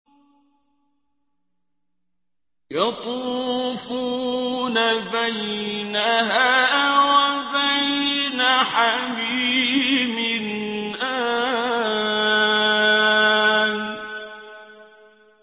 يَطُوفُونَ بَيْنَهَا وَبَيْنَ حَمِيمٍ آنٍ